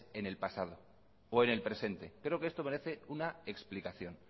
en el pasado o en el presente creo que esto merece una explicación